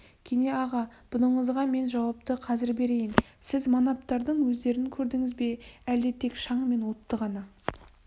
кене аға бұныңызға мен жауапты қазір берейін сіз манаптардың өздерін көрдіңіз бе әлде тек шаң мен отты ғана